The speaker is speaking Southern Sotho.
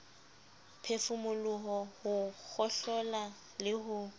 phefumoloho ho kgohlola le ho